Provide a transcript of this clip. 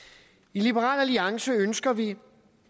i liberal alliance ønsker vi